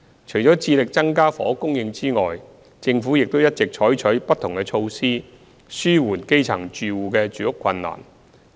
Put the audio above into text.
除致力增加房屋供應外，政府亦一直採取不同措施紓緩基層住戶的住屋困難。